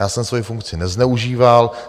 Já jsem svoji funkci nezneužíval.